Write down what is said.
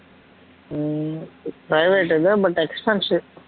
ஹம் private தா but expensive